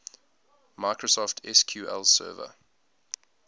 microsoft sql server